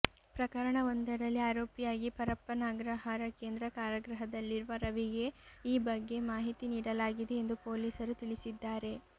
ಪ್ರಕರಣವೊಂದರಲ್ಲಿ ಆರೋಪಿಯಾಗಿ ಪರಪ್ಪನ ಅಗ್ರಹಾರ ಕೇಂದ್ರ ಕಾರಾಗೃಹದಲ್ಲಿರುವ ರವಿಗೆ ಈ ಬಗ್ಗೆ ಮಾಹಿತಿ ನೀಡಲಾಗಿದೆ ಎಂದು ಪೊಲೀಸರು ತಿಳಿಸಿದ್ದಾರೆ